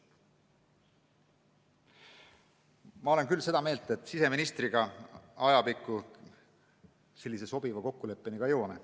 Ma olen seda meelt, et küll me siseministriga ajapikku sellise kokkuleppeni ka jõuame.